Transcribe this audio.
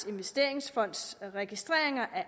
investeringsfonds registreringer af